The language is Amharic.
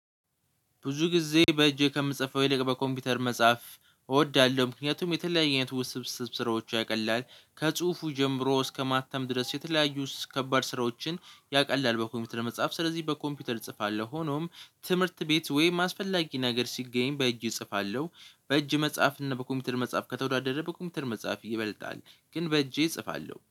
ብዙ ጊዜ በእጄ ከምጽፈው ይልቅ በኮምፒውተር መጽሐፍ እወዳለሁ። ምክንያቱም የተለያየ ውስብስብ ስራዎች ያቀላል ከጽሁፉ ጀምሮ እስከማተም ድረስ የተለያዩ እስ ከባድ ስራዎችን ያቀላል በኮምፒውተር መጽሐፍ ስለዚህ በኮምፒውተር እጽፋለሁ። ሆኖም ትምህርት ቤት ወይም አስፈላጊ ነገር ሲገኝ በእጄ እጽፋለሁ። በእጅ መጽሐፍ እና በኮምፒውተር መጽሐፍ ከተወዳደረ በኮምፒውተር መጽሐፍ ይበልጣል። ግን በእጄ እጽፋለሁ